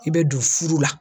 I bɛ don furu la.